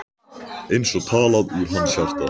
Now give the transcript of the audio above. Eins og talað úr hans hjarta.